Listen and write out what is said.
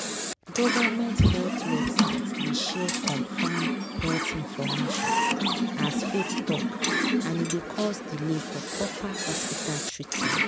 government health website dey share confirmed health info as faith talk and e dey cause delay for proper hospital treatment.